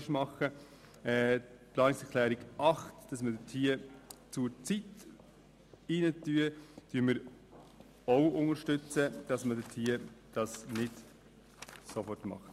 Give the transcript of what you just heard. Die Planungserklärung 8 mit der Ergänzung um «zurzeit» unterstützen wir auch, damit man nicht sofort tätig wird.